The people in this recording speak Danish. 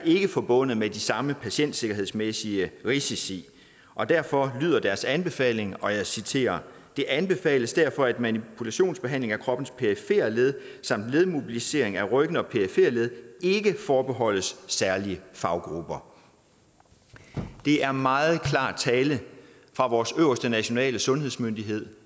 forbundet med de samme patientsikkerhedsmæssige risici og derfor lyder deres anbefaling og jeg citerer det anbefales derfor at manipulationsbehandling af kroppens perifere led samt ledmobilisering af ryggen og perifere led ikke forbeholdes særlige faggrupper det er meget klar tale fra vores øverste nationale sundhedsmyndigheder